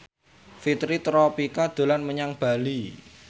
Fitri Tropika dolan menyang Bali